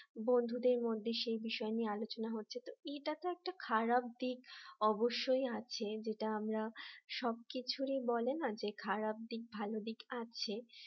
বন্ধুদের মধ্যে সেই বিষয় নিয়ে আলোচনা হচ্ছে ইটা তো একটা খারাপ দিক অবশ্যয় আছে যেটা আমরা সবকিছুই বলে না যে খারাপ দিক ভালো দিক আছে